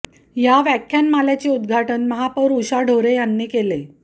या व्याख्यानमालेचे उद्धाटन महापौर उषा ढोरे यांनी केले